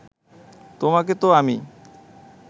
তোমাকে তো আমি